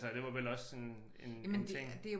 Altså det var vel også sådan en en ting